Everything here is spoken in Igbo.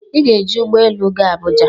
"Ị ga-eji ụgbọelu ga Abuja"